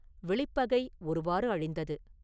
வெளிப்பகை ஒருவாறு அழிந்தது.